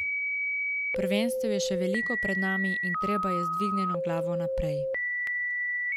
Prvenstev je še veliko pred nami in treba je z dvignjeno glavo naprej.